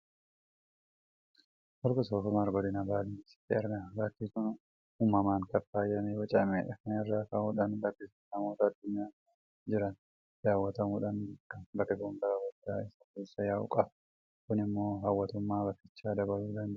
Holqi soofumar godina baalee keessatti argama. Bakki kun uumamaan kan faayamee bocamedha. Kana irraa ka'uudhaan bakki sun namoota addunyaa kana irra jiraniin daawwatamuudhaan beekama. Bakki kun laga guddaa isa keessa yaa'u qaba. Kun immoo hawwattummaa bakkichaa dabaluu danda'eera.